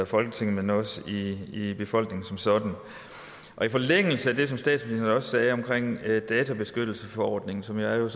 folketinget men også i befolkningen som sådan i forlængelse af det som statsminister også sagde om databeskyttelsesforordningen som jo er